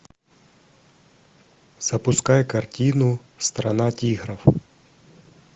запускай картину страна тигров